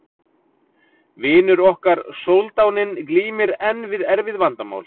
Vinur okkar soldáninn glímir enn við erfið vandamál.